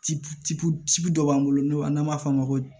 Tibu ci ci ci dɔ b'an bolo n'o n'an b'a f'o ma